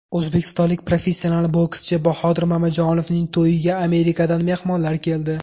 O‘zbekistonlik professional bokschi Bahodir Mamajonovning to‘yiga Amerikadan mehmonlar keldi.